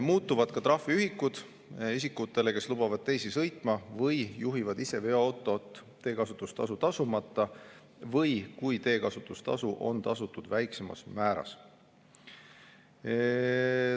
Muutuvad ka trahviühikud isikutele, kes lubavad teisi sõitma või juhivad ise veoautot teekasutustasu tasumata või kui teekasutustasu on tasutud väiksemas määras.